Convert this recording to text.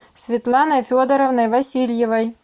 светланой федоровной васильевой